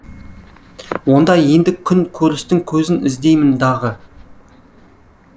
онда енді күн көрістің көзін іздеймін дағы